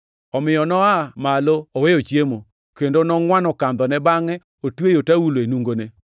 omiyo noa malo oweyo chiemo, kendo nongʼwano kandhone bangʼe otweyo taulo e nungone.